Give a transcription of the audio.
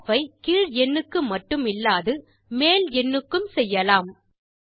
rounding off ஐ கீழ் எண்ணுக்கு மட்டுமில்லாது மேல் எண்ணுக்கும் செய்யலாம்